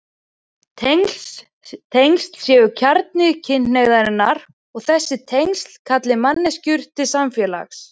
Tengsl séu kjarni kynhneigðarinnar og þessi tengsl kalli manneskjur til samfélags.